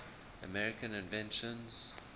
american inventions